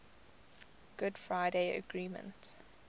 good friday agreement